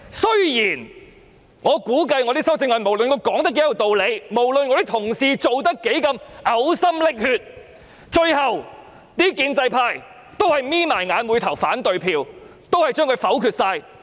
雖然我估計，就我的修正案，無論我說得多有道理，無論我的同事草擬修正案時如何嘔心瀝血，最後建制派也是閉上眼睛投下反對票，全數否決。